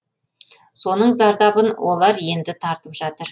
соның зардабын олар енді тартып жатыр